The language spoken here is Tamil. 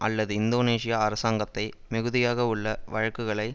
அல்லது இந்தோனேசிய அரசாங்கத்தை மிகுதியாகவுள்ள வழக்குகளை